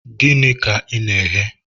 Gịnị ka ị na-eghe?